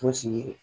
Fosi